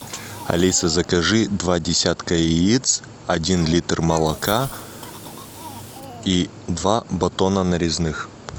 алиса закажи два десятка яиц один литр молока и два батона нарезных